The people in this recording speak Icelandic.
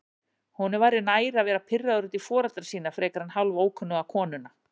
Honum væri nær að vera pirraður út í foreldra sína frekar en hálfókunnuga konuna.